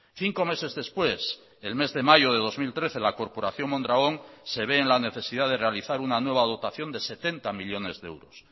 cinco meses después el mes de mayo de dos mil trece la corporación mondragón se ve en la necesidad de realizar una nueva dotación de setenta millónes de euros